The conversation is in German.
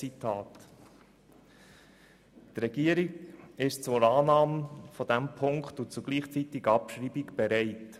Die Regierung ist zur Annahme dieses Punktes und gleichzeitiger Abschreibung bereit.